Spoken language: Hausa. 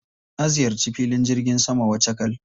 Na ziyarci filin jirgin saman Wachakal.